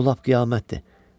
Bu lap qiyamətdir.